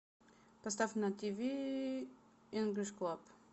поставь на тв инглиш клаб